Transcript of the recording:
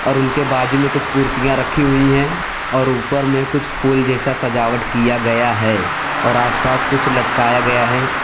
उनके बाजू में कुछ कुर्सियां रखी हुई है और ऊपर में कुछ फूल जैसा सजावट किया गया है और आसपास कुछ लटकाया गया है।